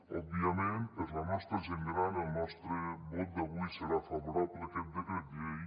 òbviament per la nostra gent gran el nostre vot d’avui serà favorable a aquest decret llei